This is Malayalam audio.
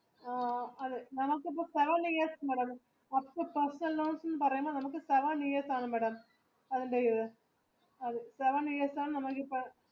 നമ്മുക്ക്